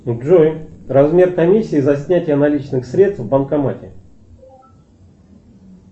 джой размер комиссии за снятие наличных средств в банкомате